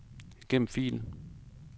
Gem fil.